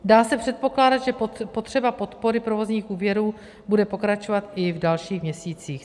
Dá se předpokládat, že potřeba podpory provozních úvěrů bude pokračovat i v dalších měsících.